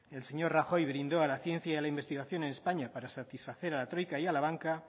el señor rajoy brindó a la ciencia y a la investigación en españa para satisfacer a la troika y a la banca